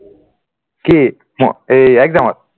কি exam